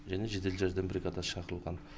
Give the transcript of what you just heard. және жедел жәрдем бригада шақырылған